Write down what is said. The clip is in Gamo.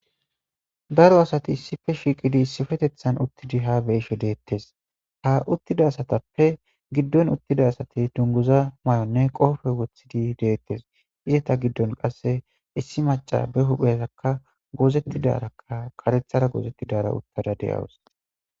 daro asati issife shiiqidi isifetethan uttidi ha be7ishe deettes ha uttida asatappe giddon uttida asati dunguza may7onne qoofe wothidi deettes izeta giddon qasse issi maca be huphezakka goozettidarakka karethara goozettidara uttada de7awus